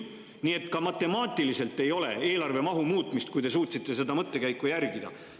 Nii et ka matemaatiliselt ei ole eelarve mahu muutmist, kui te suutsite seda mõttekäiku jälgida.